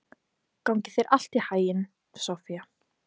Gangi þér allt í haginn, Soffía.